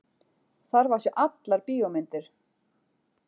Þarf að sjá allar bíómyndir.